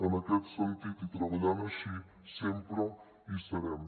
en aquest sentit i treballant així sempre hi serem